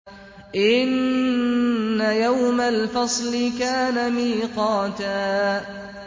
إِنَّ يَوْمَ الْفَصْلِ كَانَ مِيقَاتًا